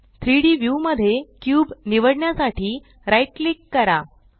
3Dव्यू मध्ये क्यूब निवडण्यासाठी राइट क्लिक करा